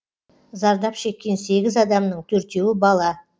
зардап шеккен сегіз адамның төртеуі бала